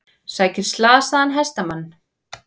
Sækir slasaðan hestamann